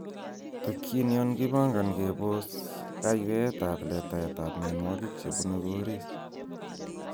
Tokyin yon kipongoni kebos kayweetab letaet ab mionwogik chebune koriis.